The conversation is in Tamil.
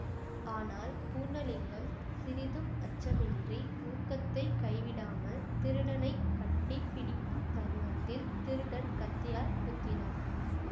ஆனால் பூர்ணலிங்கம் சிறிதும் அச்சமின்றி ஊக்கத்தை கைவிடாமல் திருடனைக் கட்டி பிடிக்கும் தருணத்தில் திருடன் கத்தியால் குத்தினான்